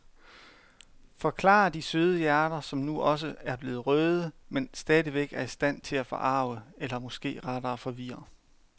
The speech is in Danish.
Forklarer de søde hjerter, som nu også er blevet røde, men stadigvæk er i stand til at forarge eller måske rettere forvirre.